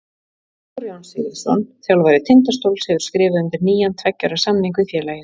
Halldór Jón Sigurðsson, þjálfari Tindastóls, hefur skrifað undir nýjan tveggja ára samning við félagið.